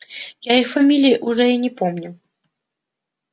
я их фамилии уже и не помню